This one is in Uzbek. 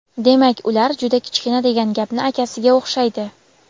demak ular - juda kichkina degan gapni akasiga o‘xshaydi.